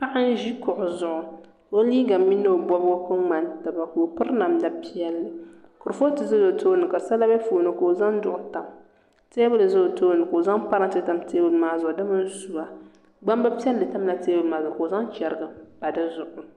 Paɣa n ʒi kuɣu zuɣu ka o liiga mini o bobgi ku ŋmani taba ka o piri namda piɛlli kurifooti ʒɛla o tooni ka sala bɛ di puuni ka o zaŋ duɣu tam teebuli ʒɛ o tooni ka o zaŋ parantɛ tam teebuli maa zuɣu di mini suwa gbambili piɛlli tamla teebuli maa zuɣu ka o zaŋ chɛriga n pa di zuɣu